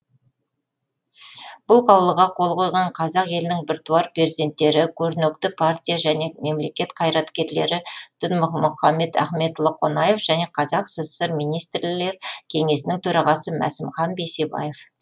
бұл қаулыға қол қойған қазақ елінің біртуар перзенттері көрнекті партия және мемлекет қайраткерлері дінмұхамет ахметұлы қонаев және қазақ сср министрлер кеңесінің төрағасы масімхан бейсебаев